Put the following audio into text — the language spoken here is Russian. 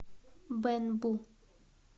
бэнбу